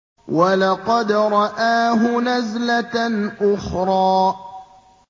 وَلَقَدْ رَآهُ نَزْلَةً أُخْرَىٰ